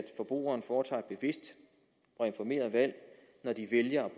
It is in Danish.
forbrugerne foretager et bevidst og informeret valg når de vælger